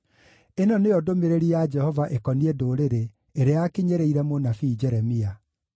Ĩno nĩyo ndũmĩrĩri ya Jehova ĩkoniĩ ndũrĩrĩ ĩrĩa yakinyĩrĩire mũnabii Jeremia: